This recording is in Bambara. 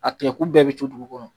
A tigɛ kun bɛɛ bi to dugu kɔnɔ.